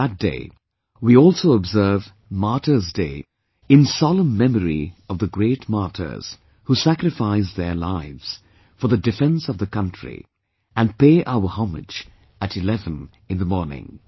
On that day we also observe martyrs day in solemn memory of the great martyrs who sacrificed their lives for the defense of the country and pay our homage at 11 in the morning